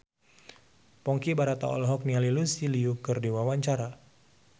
Ponky Brata olohok ningali Lucy Liu keur diwawancara